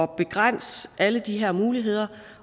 begrænse alle de her muligheder